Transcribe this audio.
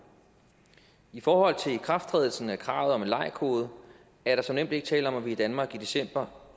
i forhold til ikrafttrædelsen af kravet om en lei kode er der som nævnt ikke tale om at vi i danmark i december